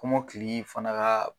Kɔmɔkili fana ka